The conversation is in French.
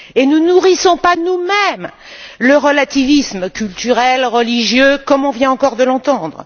Et ne nourrissons pas nous mêmes le relativisme culturel, religieux, comme on vient encore de l'entendre.